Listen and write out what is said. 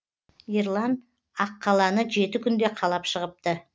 ерлан аққаланы жеті күнде қалап шығыпты